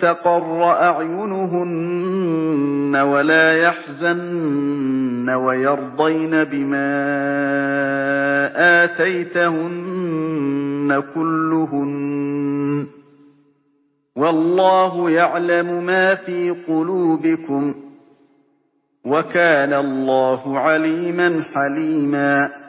تَقَرَّ أَعْيُنُهُنَّ وَلَا يَحْزَنَّ وَيَرْضَيْنَ بِمَا آتَيْتَهُنَّ كُلُّهُنَّ ۚ وَاللَّهُ يَعْلَمُ مَا فِي قُلُوبِكُمْ ۚ وَكَانَ اللَّهُ عَلِيمًا حَلِيمًا